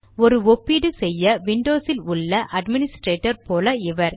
ஒரு ஒப்பீடு செய்ய விண்டோஸில் உள்ள அட்மினிஸ்ட்ரேட்டர் போல இவர்